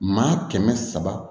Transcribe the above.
Maa kɛmɛ saba